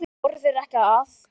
Voru þeir ekki að?